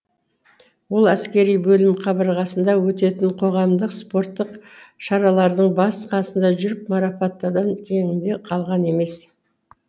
ол әскери бөлім қабырғасында өтетін қоғамдық спорттық шаралардың басы қасында жүріп марапаттардан кенде қалған емес